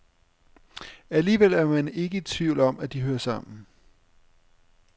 Alligevel er man ikke i tvivl om, at de hører sammen.